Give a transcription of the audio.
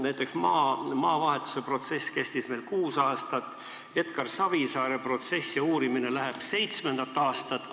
Näiteks maadevahetuse protsess kestis meil kuus aastat, Edgar Savisaare protsess ja uurimine läheb seitsmendat aastat.